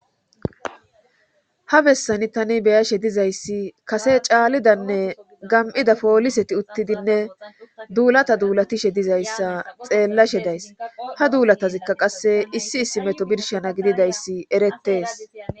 ha bessani tani be7ashe dizayssi kase caalidanne gam7ida pooliseti uttidinne duulata duulatishe dizayssa xeellashe days ha duulatazikka qasse issi issi meto birshana gididayssi erettees.